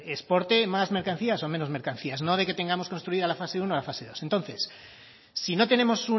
exporte más mercancías o menos mercancías no de que tengamos construida la fase uno o la fase dos entonces si no tenemos